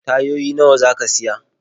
Tayoyi nawa za ka siya?